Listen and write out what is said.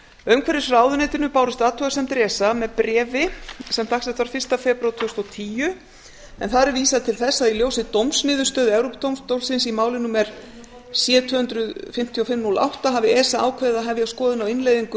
umhverfisráðuneytinu bárust athugasemdir esa með bréfi sem dagsett var fyrsta febrúar tvö þúsund og tíu þar er vísað til þess að í ljósi dómsniðurstöðu evrópudómstólsins í máli númer c tvö hundruð fimmtíu og fimm núll átta hafi esa ákveðið að hefja skoðun á innleiðingu e e